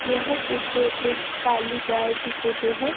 यह फोटो एक काली गाय की फोटो है।